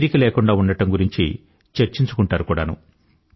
తీరిక లేకుండా ఉండడం గురించి చర్చించుకుంటారు కూడానూ